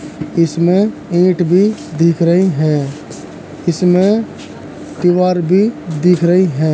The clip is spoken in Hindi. इसमें ईंट भी दिख रही हैं इसमें दीवार भी दिख रही हैं।